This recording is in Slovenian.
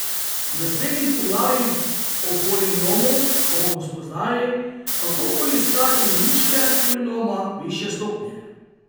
V naslednjih poglavjih o polinomu pa bomo spoznali, kako poiskati ničle polinoma višje stopnje.